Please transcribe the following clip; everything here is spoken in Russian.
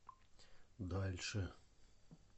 дальше